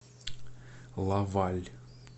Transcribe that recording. лаваль